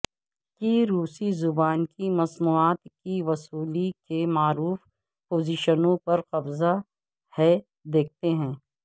کی روسی زبان کی مصنوعات کی وصولی کے معروف پوزیشنوں پر قبضہ ہے دیکھتے ہیں